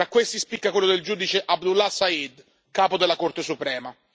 Tra questi spicca quello del giudice Abdullah Saeed, capo della Corte suprema.